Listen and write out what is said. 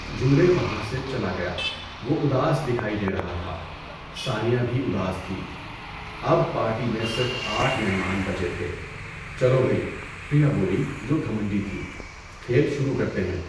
Judeo وہاں سے چلا گیا، وہ اداس دکھائی دے رہا تھا، ثانیہ بھی اداس تھی۔ اب پارٹی میں صرف آٹھ مہمان بچے تھے۔ چلو بھئی، پریا بولی جو گھمنڈی تھی، کھیل شروع کرتے ہیں!